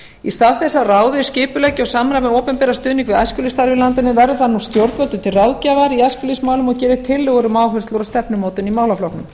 í stað þess að ráðið skipuleggi og samræmi opinberan stuðning við æskulýðsstarf í landinu verður það nú stjórnvöldum til ráðgjafar í æskulýðsmálum og geri tillögur um áherslur og stefnumótun í málaflokknum